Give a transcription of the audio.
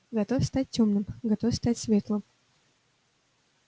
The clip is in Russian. готов стать тёмным готов стать светлым